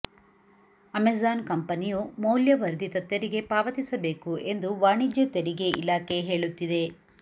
Amazon ಕಂಪೆನಿಯು ಮೌಲ್ಯವರ್ಧಿತ ತೆರಿಗೆ ಪಾವತಿಸಬೇಕು ಎಂದು ವಾಣಿಜ್ಯ ತೆರಿಗೆ ಇಲಾಖೆ ಹೇಳುತ್ತಿದೆ